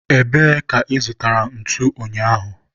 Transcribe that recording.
ebee ka ị zụtara ntu ụnyaahụ?